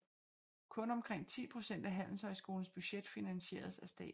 Kun omkring 10 procent af handelshøjskolens budget finansieres af staten